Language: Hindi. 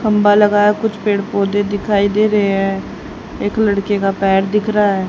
खंभा लगा है कुछ पेड़ पौधे दिखाई दे रहे हैं एक लड़के का पैर दिख रहा--